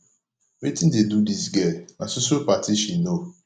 wetin dey do dis girl na so so party she know